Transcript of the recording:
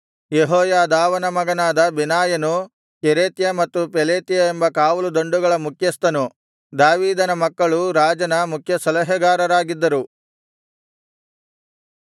ಯೆಹೋಯಾದಾವನ ಮಗನಾದ ಬೆನಾಯನು ಕೆರೇತ್ಯ ಮತ್ತು ಪೆಲೇತ್ಯ ಎಂಬ ಕಾವಲು ದಂಡುಗಳ ಮುಖ್ಯಸ್ಥನು ದಾವೀದನ ಮಕ್ಕಳು ರಾಜನ ಮುಖ್ಯಸಲಹೆಗಾರರಾಗಿದ್ದರು